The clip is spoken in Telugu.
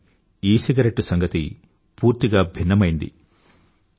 కానీ ఈసిగరెట్టు సంగతి పూర్తిగా భిన్నమైనది